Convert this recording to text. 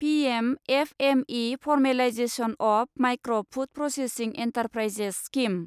PM FME formalisation of micro food processing enterprises scheme